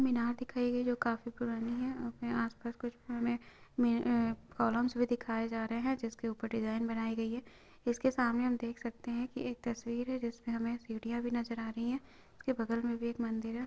मीनार दिखाई गई जो काफी पुरानी है > आसपास कुछ हमें कॉलमस भी दिखाए जा रहे है जिसके ऊपर डिजाईन बनाई गई है इसके सामने हम देख सकते है की एक तस्वीर है जिसमे हमे सीढियाँ भी नजर आ रही है उसके बगल मे भी एक मंदिर है।